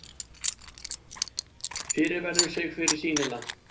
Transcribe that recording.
Fyrirverður sig fyrir sýnina.